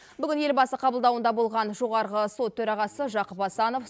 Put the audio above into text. бүгін елбасы қабылдауында болған жоғарғы сот төрағасы жақып асанов